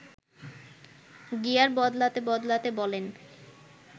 gear বদলাতে বদলাতে বলেন